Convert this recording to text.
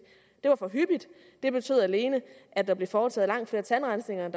det var for hyppigt det betød alene at der blev foretaget langt flere tandrensninger end